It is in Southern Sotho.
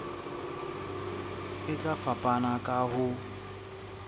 e tla fapana ka ho